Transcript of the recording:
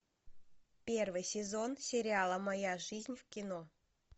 первый сезон сериала моя жизнь в кино